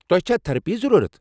تۄہہ چھا تھیرپی ضروٗرت؟